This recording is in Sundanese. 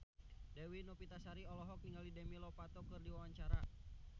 Dewi Novitasari olohok ningali Demi Lovato keur diwawancara